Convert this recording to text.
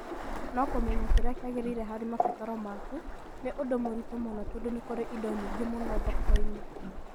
No kũmenya kĩrĩa kĩagĩrĩire harĩ mabataro maku nĩ ũndũ mũritũ mũno tondũ nĩ kũrĩ indo nyingĩ mũno thoko-inĩ